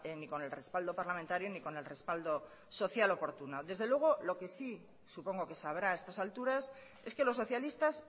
ni con el respaldo parlamentario ni con el respaldo social oportuno desde luego lo que sí supongo que sabrá a estas alturas es que los socialistas